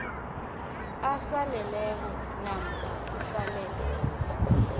aseleleko namkha usalele